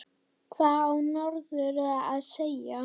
Hvað á norður að segja?